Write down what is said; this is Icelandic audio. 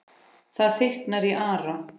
Það þykknar í Ara